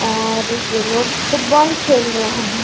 और ये लोग फुटबॉल खेल रहे है।